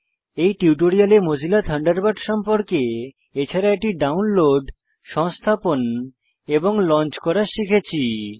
এই টিউটোরিয়ালে Mozilla Thunderbird সম্পর্কে এছাড়া এটি ডাউনলোড সংস্থাপন এবং লঞ্চ করা শিখেছি